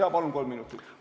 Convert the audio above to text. Jah, palun kolm minutit!